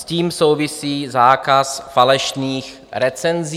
S tím souvisí zákaz falešných recenzí.